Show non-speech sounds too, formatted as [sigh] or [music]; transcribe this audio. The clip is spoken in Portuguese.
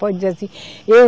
Pode dizer assim. [unintelligible]